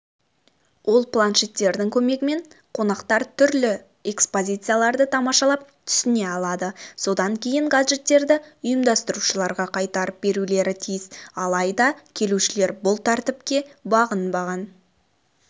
ол планшеттердің көмегімен қонақтар түрлі экспозицияларды тамашалап түсіне алады содан кейін гаджеттерді ұйымдастырушыларға қайтарып берулері тиіс алайда келушілер бұл тәртіпке бағынбаған